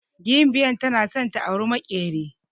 Gimbyar tana san ta auri maƙyeri